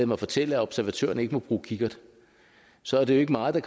mig fortælle at observatørerne ikke må bruge kikkert så er det jo ikke meget